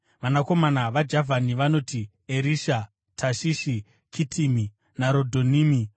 Vanakomana vaJavhani vanoti: Erisha, Tashishi, Kitimi naRodhanimi.